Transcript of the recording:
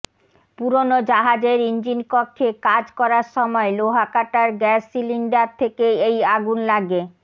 পুরনো জাহাজের ইঞ্জিন কক্ষে কাজ করার সময় লোহা কাটার গ্যাস সিলিন্ডার থেকে এই আগুন লাগে